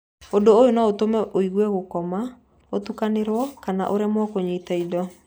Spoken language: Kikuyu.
Ũndũ ũyũ no ũtũme ũigwe gũkoma, ũtukanĩrwo kana ũremwo kũnyita indo.